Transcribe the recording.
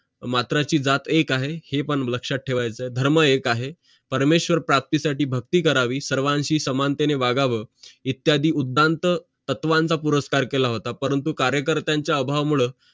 मात्राची जात एक आहे हे पण लक्षात ठेवायचं आहे धर्म एक आहे परमेश्वर प्राप्ती साठी भक्ती करावी सर्वांशी समानतेने वागावं इत्यादी उद्वनच तत्वांचा पुरस्कार परंतु कार्य कर्त्यांचा अभाव मूळ